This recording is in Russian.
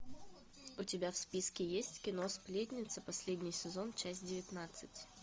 у тебя в списке есть кино сплетница последний сезон часть девятнадцать